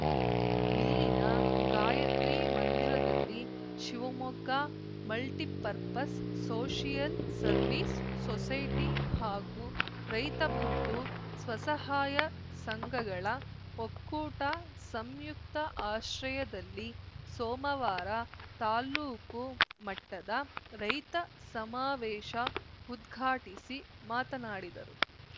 ಇಲ್ಲಿನ ಗಾಯತ್ರಿ ಮಂದಿರದಲ್ಲಿ Shivamogga multipurpose social service society ಹಾಗೂ ರೈತ ಬಂಧು ಸ್ವ ಸಹಾಯ ಸಂಘಗಳ ಒಕ್ಕೂಟ ಸಂಯುಕ್ತ ಆಶ್ರಯದಲ್ಲಿ ಸೋಮವಾರ ತಾಲೂಕು ಮಟ್ಟದ ರೈತ ಸಮಾವೇಶ ಉದ್ಘಾಟಿಸಿ ಮಾತನಾಡಿದರು